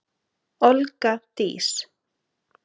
Olga Dís.